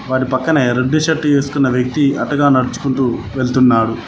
వాటి పక్కన ఎర్ర టీ షర్ట్ ఏసుకున్న వ్యక్తి అటుగా నడుచుకుంటూ వెళ్తున్నాడు.